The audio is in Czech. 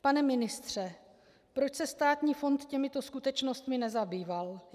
Pane ministře, proč se Státní fond těmito skutečnostmi nezabýval?